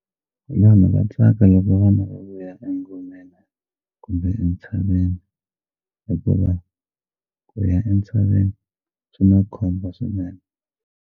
Vanhu va tsaka loko vana va vuya engomeni kumbe entshaveni hikuva ku ya entshaveni swi na khombo swinene.